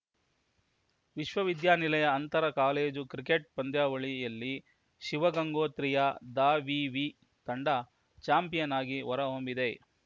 ವಿಶ್ವ ವಿದ್ಯಾನಿಲಯ ಅಂತರ ಕಾಲೇಜು ಕ್ರಿಕೆಟ್‌ ಪಂದ್ಯಾವಳಿಯಲ್ಲಿ ಶಿವಗಂಗೋತ್ರಿಯ ದಾವಿವಿ ತಂಡ ಚಾಂಪಿಯನ್‌ ಆಗಿ ಹೊರ ಹೊಮ್ಮಿದೆ